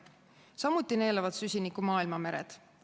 Samuti neelavad süsinikku maailma mered.